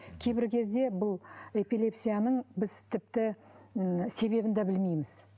кейбір кезде бұл эпилепсияның біз тіпті і себебін де білмейміз